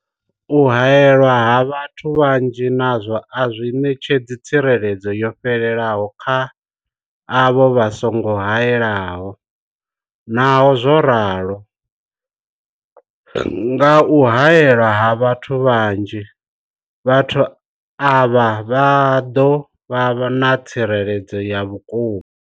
U haelwa ha vhathu vhanzhi nazwo a zwi ṋetshedzi tsireledzo yo fhelelaho kha avho vha songo haelwaho, naho zwo ralo, nga kha u haelwa ha vhathu vhanzhi, vhathu avha vha ḓo vha na tsireledzo ya vhukuma.